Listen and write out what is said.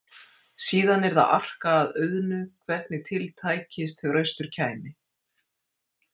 Síðan yrði að arka að auðnu hvernig til tækist þegar austur kæmi.